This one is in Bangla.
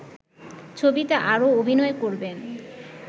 ছবিতে আরও অভিনয় করবেন